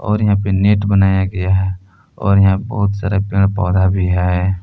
और यहां पे नेट बनाया गया है और यहां बहुत सारे पेड़ पौधा भी है।